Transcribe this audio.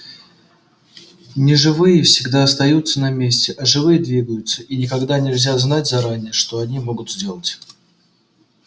неживые всегда остаются на месте а живые двигаются и никогда нельзя знать заранее что они могут сделать